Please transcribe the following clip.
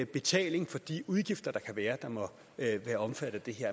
betaling for de udgifter der kan være som må være omfattet af det her